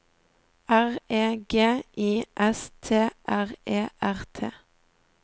R E G I S T R E R T